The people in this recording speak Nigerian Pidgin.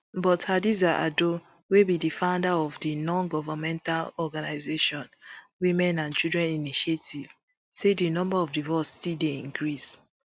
but hadiza ado wey be di founder of di nongovernmental organisation women and children initiative say di number of divorce still dey increase